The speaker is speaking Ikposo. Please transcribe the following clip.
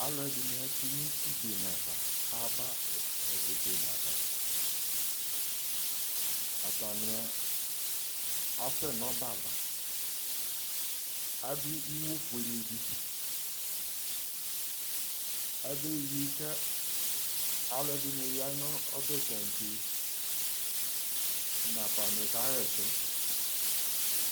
alò ɛdini ato no uti bene ava aba ebene ava atani asɛ n'ɔbɛ ava adu iwo fuele di abe wi k'alo ɛdini ya n'ɔbɛ tantse nafa ni ka ɣa ɛsɛ